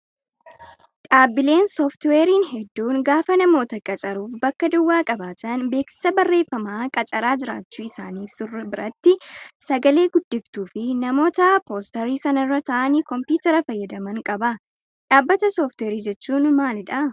Dhaabbileen sooftiweeriin hedduun gaafa namoota qacaruuf bakka duwwaa qabaatan beeksisa barreeffamaa qacaraa jiraachuu isaanii ibsu biratti sagalee guddiftuu fi namoota poostarii sanarra taa'anii kompiitaara fayyadaman qaba. Dhaabbata sooftiweerii jechuun maalidhaa?